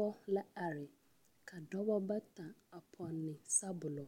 Pɔɔge la are ka dɔba bata a pɔnne sabɔlɔ